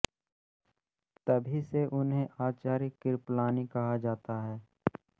तभी से उन्हें आचार्य़ कृपलानी कहा जाता है